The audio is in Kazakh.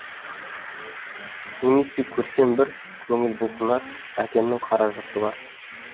немесе көрсем бір көңіл бұлқынар әкемнің қара жұрты бар